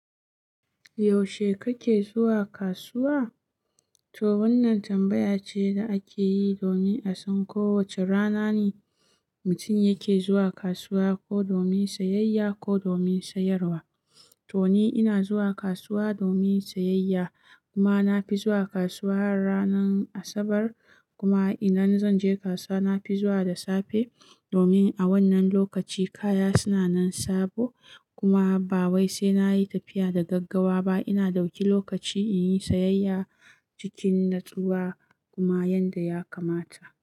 Yaushe kake zuwa kasuwa? To wannan tambaya ce da ake yi domin a san ko wace rana ne mutum yake zuwa kasuwa, ko domin sayayya ko domin sayarwa. To ni ina zuwa kasuwa domin sayayya kuma na fi zuwa kasuwa ranar Asabar. Kuma idan zan je kasuwa na fi zuwa da safe domin a wannan lokaci kaya suna nan sabo kuma ba wai sai na yi tafiya da gaggawa ba. Ina dauki lokaci in yi sayayya cikin natsuwa kuma yadda ya kamata.